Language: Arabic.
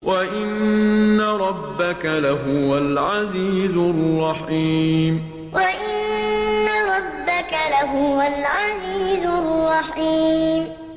وَإِنَّ رَبَّكَ لَهُوَ الْعَزِيزُ الرَّحِيمُ وَإِنَّ رَبَّكَ لَهُوَ الْعَزِيزُ الرَّحِيمُ